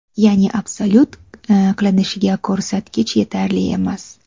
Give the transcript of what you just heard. Ya’ni absolyut qilinishiga ko‘rsatkich yetarli emas.